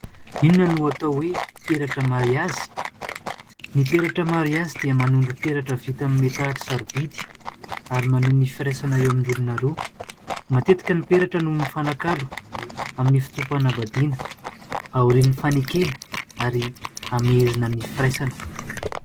Inona no atao hoe peratra mariazy? Ny peratra mariazy dia manondro peratra vita amin'ny metaly sarobidy ary maneho ny firaisana eo amin'ny olona roa, matetika ny peratra no mifanakalo amin'ny fotoam-panambadiana, aorian'ny fanekena ary hamehezana ny firaisana.